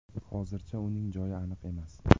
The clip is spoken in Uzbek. Hozircha uning joyi aniq emas.